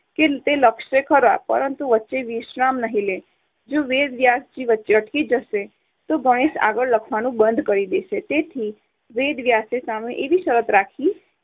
તે લખશે ખરા પણ વચ્ચે વિશ્રામ નહી લે. જો વેદવ્યાસ વચ્ચે અટકી જશે તો ગણેશ આગળ લખવાનું બંધ કરી દેશે. તેથી વેદ વ્યાસે સામે એવી શરત રાખી કે